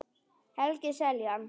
Helgi Seljan.